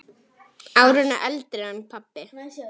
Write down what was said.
Árinu eldri en pabbi.